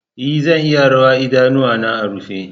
E, zan iya rawa idanuwana a rufe.